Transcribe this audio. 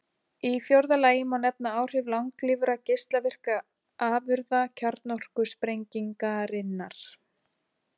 Í fjórða lagi má nefna áhrif langlífra geislavirkra afurða kjarnorkusprengingarinnar.